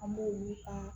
An b'olu ka